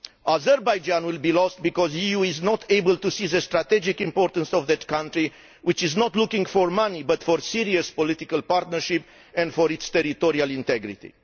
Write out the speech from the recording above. Azerbaijan will be lost because the EU is not able to see the strategic importance of that country, which is not looking for money but for a serious political partnership and its territorial integrity.